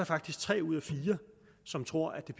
faktisk tre ud af fire som tror at